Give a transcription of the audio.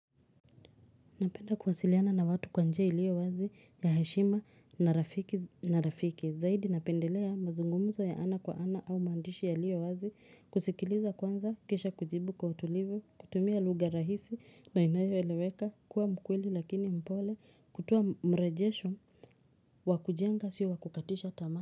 Napenda kuwasiliana na watu kwa njia ilio wazi ya heshima na rafiki na rafiki. Zaidi napendelea mazungumzo ya ana kwa ana au maandishi yailio wazi kusikiliza kwanza kisha kujibu kwa utulivu kutumia lugha rahisi na inayo eleweka kuwa mkweli lakini mpole kutoa mrejesho wa kujenga sio wa kukatisha tamaa.